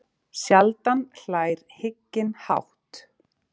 Sjaldan hlær hygginn hátt.